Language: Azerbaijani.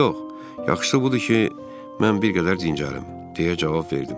Yox, yaxşısı budur ki, mən bir qədər dincəlim, deyə cavab verdim.